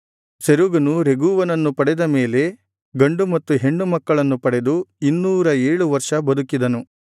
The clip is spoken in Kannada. ಸೆರೂಗನು ರೆಗೂವನನ್ನು ಪಡೆದ ಮೇಲೆ ಗಂಡು ಮತ್ತು ಹೆಣ್ಣು ಮಕ್ಕಳನ್ನು ಪಡೆದು ಇನ್ನೂರ ಏಳು ವರ್ಷ ಬದುಕಿದನು